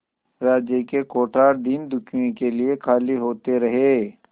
राज्य के कोठार दीनदुखियों के लिए खाली होते रहे